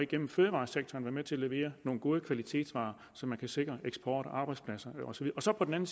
gennem fødevaresektoren kan være med til at levere nogle gode kvalitetsvarer så vi kan sikre eksport og arbejdspladser og så på den anden